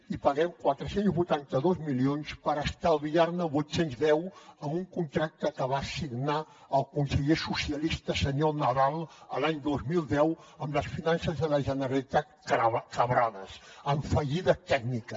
i paguem quatre cents i vuitanta dos milions per estalviar ne vuit cents i deu amb un contracte que va signar el conseller socialista senyor nadal l’any dos mil deu amb les finances de la generalitat quebrades en fallida tècnica